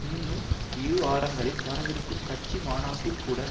இன்னும் இருவாரங்களில் வரவிருக்கும் கட்சி மாநாட்டில்கூட